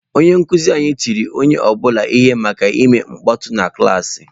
Onye nkuzi anyị tiri onye ọ bụla ihe maka ime mkpọtụ na klaasị.